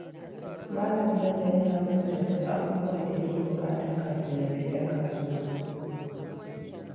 Malam Bello yana rubuta duk abubuwan da yake buƙata kafin ya fita kasuwa.